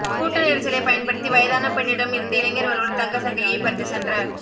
கூட்ட நெரிசலை பயன்படுத்தி வயதான பெண்ணிடம் இருந்து இளைஞர் ஒருவர் தங்க சங்கிலியை பறித்து சென்ற